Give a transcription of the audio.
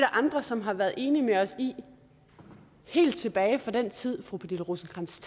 andre som har været enig med os i helt tilbage til den tid hvor fru pernille rosenkrantz